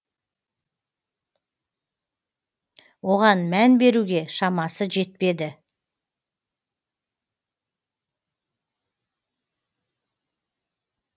оған мән беруге шамасы жетпеді